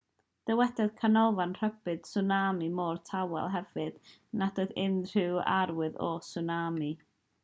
dywedodd canolfan rhybudd tswnami'r môr tawel hefyd nad oedd unrhyw arwydd o tswnami